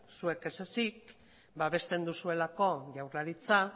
zuek ez ezik babesten duzuelako jaurlaritza